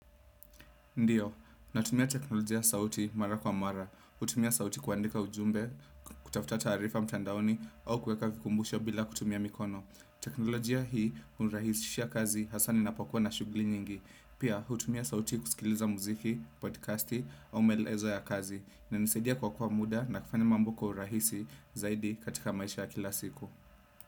Ndiyo, natumia teknolojia ya sauti mara kwa mara, utumia sauti kuandika ujumbe, kutafuta taarifa mtandaoni, au kuweka vikumbusho bila kutumia mikono. Teknolojia hii unirahisishia kazi hasa ninapokuwa na shugli nyingi. Pia, utumia sauti kusikiliza muziki, podcasti, au maelezo ya kazi, inanisaidia kuokowa muda na kufanya mambo kwa urahisi zaidi katika maisha ya kila siku.